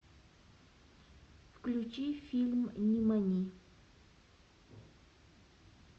включи фильм нимани